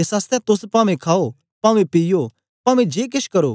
एस आसतै तोस पवें खाओ पवें पीओ पवें जे केछ करो